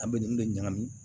An bɛ ninnu de ɲagami